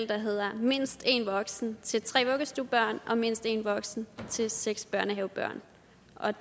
der hedder mindst en voksen til tre vuggestuebørn og mindst en voksen til seks børnehavebørn